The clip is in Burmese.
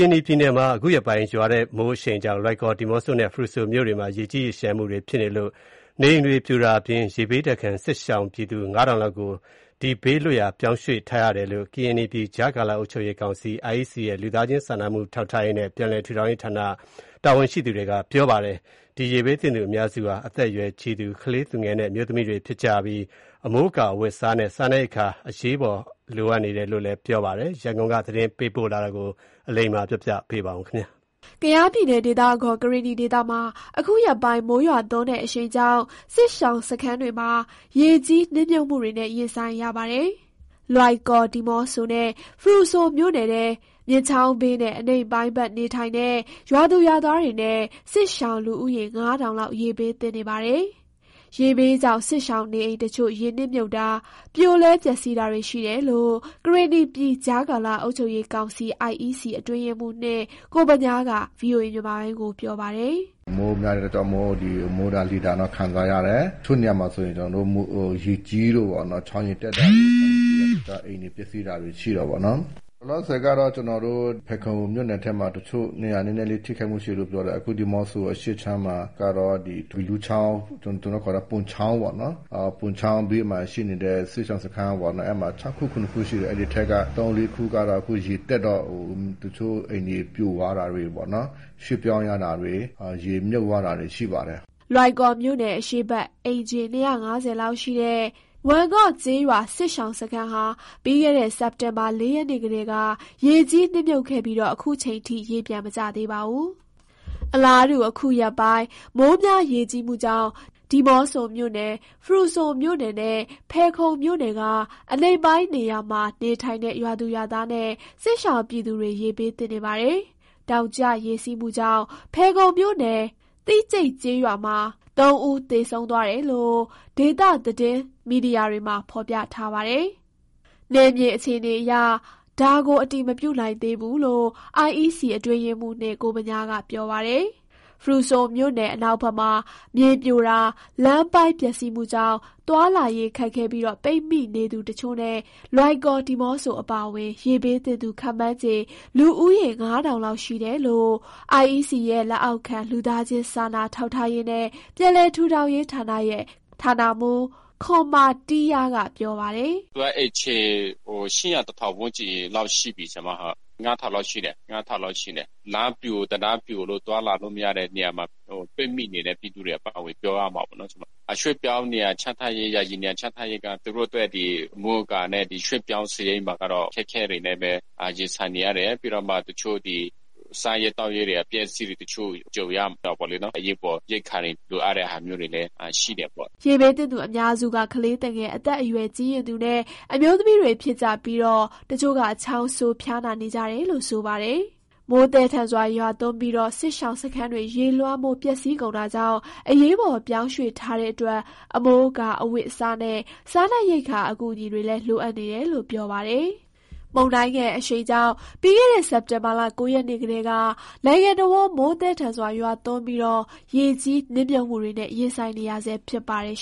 ရင်နီပြည်နယ်မှာ အခုရက်ပိုင်း မိုးရွာသွန်းတဲ့ အရှိန်ကြောင့် လွိုင်ကော်၊ ဒီးမော့ဆိုနဲ့ ဖရူဆိုမြို့နယ်တွေမှာ ရေကြီးရေလျှံမှုတွေ ဖြစ်နေတာကြောင့် နေအိမ်တွေ ပြိုကျ ပျက်ဆီးတာအပြင် ရေဘေးဒဏ်ခံနေရတဲ့ စစ်ရှောင်ပြည်သူ ၅,၀၀၀ လောက်ကို ရေဘေးလွတ်ရာ ပြောင်းရွှေ့ထားရတယ်လို့ ကရင်နီပြည် ကြားကာလအုပ်ရေးကောင်စီ - IEC လက်အောက်ခံ လက်အောက်ခံ လူသားချင်းစာနာထောက်ထားရေးနဲ့ ပြန်လည်ထူထောင်ရေးဌာနရဲ့ ဌာန တာဝန်ရှိသူတွေက ပြောပါတယ်။ ရေဘေးသင့်သူ အများစုဟာ အသက်အရွယ်ကြီးရင့်သူ၊ ကလေးသူငယ်နဲ့ အမျိုးသမီးတွေဖြစ်ကြပြီး အမိုးအကာ၊ အဝတ်အစားနဲ့ စားနပ်ရိက္ခာ အကူအညီ အရေးပေါ် လိုအပ်နေတယ်လို့ ဆိုပါတယ်။ ဒီအကြောင်း ရန်ကုန်က သတင်းပေးပို့တာကို ပြောပြပါမယ်။ ကယားပြည်နယ်၊ ဒေသအခေါ် ကရင်နီဒေသမှာ ခုရက်ပိုင်း မိုးရွာသွန်းတဲ့ အရှိန်ကြောင့် စစ်ရှောင်စခန်းတွေမှာ ရေကြီးနစ်မြှုပ်မှုတွေနဲ့ ရင်ဆိုင်ရပါတယ်။ လွိုင်ကော်၊ ဒီးမော့ဆိုနဲ့ ဖရူဆိုမြို့နယ်ထဲ မြစ်ချောင်းဘေးနဲ့ အနိမ့်ပိုင်းဘက် နေထိုင်တဲ့ ရွာသူရွာသားတွေနဲ့ စစ်ရှောင် လူဦးရေ ၅,၀၀၀ လောက် ရေဘေးသင့်နေပါတယ်။ ရေဘေးကြောင့် စစ်ရှောင် နေအိမ်တချို့ ရေနစ်မြှုပ်တာ၊ ပြိုလဲပျက်စီးတာတွေ ရှိတယ်လို့ ကရင်နီပြည် ကြားကာလ အုပ်ချုပ်ရေးကောင်စီ အတွင်းရေးမှူး ကိုဗညားက ပြောပါတယ်။ “မိုးများတဲ့ အတွက်ကြောင့်မို့ ဒီ မိုးဒဏ် လေဒဏ်တော့ ခံစားရတယ်။ တချို့နေရာမှာ ကျနော်တို့ ရေကြီးလို့ပေါ့နော်။ ချောင်းရေတက်လို့ အိမ်တွေ ပျက်စီးတာတွေရှိတာပေါ့နော်။ လောလောဆယ်ကတော့ ကျနော်တို့ ဖယ်ခုံမြို့နယ်ထဲမှာ တချို့နေရာ နည်းနည်းလေထိခိုက်မှုရှိတယ် ပြောတယ်။ အခုဒီးမော့ဆို အရှေ့ခြမ်းမှာကတော့ ဒီဘီးလူချာင်း ကျနော်တို့ခေါ်တာ ဗွန်ချောင်းပေါ့နော်၊ ဗွန်ချောင်းဘေးမှာ ရှိနေတဲ့ စစ်ရှောင်စခန်းပေါ့နော်၊ အဲ့မှာ ၆ခု ၇ခု ရှိတယ်၊ အဲ့ဒီထဲက ၃၊ ၄ခုကတော့ အခုရေတက်တော့ တချို့အိမ်တွေ ပြိုသွားတာတွေပေါ့ ရွှေ့ပြောင်းရတာတွေ ရေမြှုပ်သွားတာတွေ ရှိပါတယ်။” လွိုင်ကော်မြို့နယ် အရှေ့ဘက် အိမ်ခြေ ၂၅၀ လောက်ရှိတဲ့ ဝမ်ငေါ့ကျေးရွာ စခန်းရှောင်စခန်းဟာ ပြီးခဲ့တဲ့ စက်တင်ဘာ ၄ ရက်နေ့ကတည်းက ရေကြီးနစ်မြှုပ်ခဲ့ပြီး ခုထိချိန်ထိ ရေပြန်မကျသေးပါဘူး။ အလားတူ ခုရက်ပိုင်း မိုးများရေကြီးမှုကြောင့် ဒီးမော့ဆိုမြို့နယ်၊ ဖရူဆိုမြို့နယ်နဲ့ ဖယ်ခုံမြို့နယ်က အနိမ့်ပိုင်းနေရာမှာ နေထိုင်တဲ့ ရွာသူရွာသားနဲ့ စစ်ရှောင်ပြည်သူတွေ ရေဘေးသင့်နေပါတယ်။ တောင်ကျရေစီးမှုကြောင့် ဖယ်ခုံမြို့နယ် သိကျိတ်ကျေးရွာမှာ ၃ ဦးသေဆုံးသွားတယ်လို့ ဒေသသတွင်း တင်းမီဒီယာက ဖော်ပြထားပါတယ်၊ နယ်မြေအခြေအနေအရ ဒါကို အတည်မပြုနိုင်သေးဘူးလို့ IEC အတွင်းရေးမှူး ကိုဗညားက ပြောပါတယ်။ ဖရူဆိုမြို့နယ်အနောက်ဘက်မှာ မြေပြိုတာ လမ်းပိုင်းပျက်စီးမှုကြောင့် သွားလာရေးခက်ခဲပြီး ပိတ်မိနေသူတချို့နဲ့ လွိုင်ကော်၊ ဒီးမော့ဆို အပါအဝင် ရေဘေးသင့်သူ ခန့်မှန်းခြေ လူဦးရေ ၅,၀၀၀ လောက်ရှိတယ်လို့ IEC ရဲ့ လက်အောက်ခံ လူသားချင်းစာနာထောက်ထားရေးနဲ့ ပြန်လည်ထူထောင်ရေးဌာနရဲ့ ဌာနမှူး ခွံမာတီးယာ က ပြောပါတယ်။ “ အိမ်ခြေ ၈၀၀၊ ၁,၀၀၀ ဝန်ကျင်းလောက် ရှိပြီ။ လူ ၅,၀၀၀ လောက်ရှိတယ်။ လမ်းပြို တံတားပြိုလို့ သွားလာလို့မရတဲ့ နေရာမှာ ပိတ်မိနေတဲ့ ပြည်သူတွေအပါအဝင် ပြောရမှာပေါ့နော်။ ရွှေ့ပြောင်းနေရာချထားရေး ယာယီနေရာချထားရေးက သူတို့အတွက် အမိုးအကာနဲ့ ရွှေ့ပြောင်း စားရိတ်မှာကတော့ ခက်ခဲတွေနဲ့ပဲ ရင်ဆိုင်နေရတယ်။ ပြီးတော့မှ တချို့ ဒီ စားရေး သောက်ရေးတွေ၊ အပျက်အစီးတွေ၊ တချို့ ကြုံရတာပေါ့လေနော်။ အရေးပေါ် ရိက္ခာတွေ လိုအပ်တဲ့ဟာမျိုးတွေလည်း ရှိတယ်ပေါ့။” ရေဘေးသင့်သူ အများစုက ကလေးသူငယ်၊ အသက်အရွယ်ကြီးရင့်သူနဲ့ အမျိုးသမီးတွေ ဖြစ်ကြပြီး တချို့က ချောင်းဆိုး ၊ ဖျားနာ နေကြတယ်လို့ ဆိုပါတယ်။ မိုးသည်းထန်စွာ ရွာသွန်းပြီး စစ်ရှောင်စခန်းတွေ ရေလွှမ်းမိုး ပျက်စီးကုန်တာကြောင့် အရေးပေါ်ပြောင်းရွှေ့ထားတဲ့အတွက် အမိုးအကာ၊ အဝတ်အစားနဲ့ စားနပ်ရိက္ခာ အကူအညီ လိုအပ်နေတာလို့ ဆိုပါတယ်။ မုန်တိုင်းအရှိန်ကြောင့် ပြီးခဲ့တဲ့ စက်တင်ဘာလ ၉ ရက်နေ့ကတည်းက နိုင်ငံတဝန်း မိုးသည်းထန်စွာ ရွာသွန်းပြီး ရေကြီးနစ်မြှုပ်မှုတွေနဲ့ ရင်ဆိုင်နေရဆဲ ဖြစ်ပါတယ်